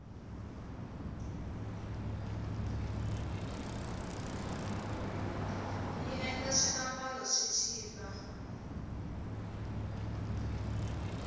yi endla swiambalo swi chipa